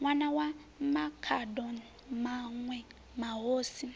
ṋwana wa makhado maṋwe mahosi